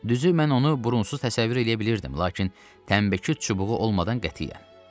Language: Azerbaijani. Düzü, mən onu burunsuz təsəvvür eləyə bilirdim, lakin tənbəki çubuğu olmadan qətiyyən.